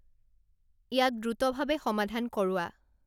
ইয়াক দ্ৰুতভাৱে সমাধান কৰোৱা